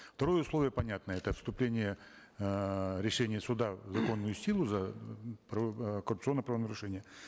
второе условие понятно это вступление эээ решения суда в законную силу за э коррупционное правонарушение